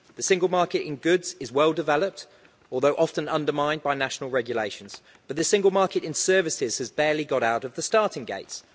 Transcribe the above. The Single Market in goods is well developed, although often undermined by national regulations, but the Single Market in services has barely got out of the starting gates.